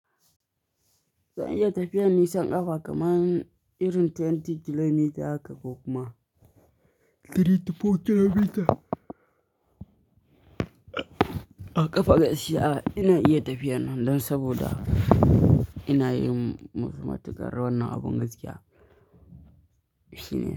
Zan iya tafiya nisan kafa kaman irin 20 kilomita haka ko kuma 3 to 4 kilomita. A ƙafa gaskiya ina iya tafiya nan don saboda ina yin matukar wannan abin gaskiya shine.